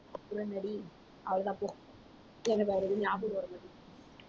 அப்பறம் என்னடி அவ்ளோதான் போ எனக்கு வேற ஞாபகம் வரமாட்டீங்குது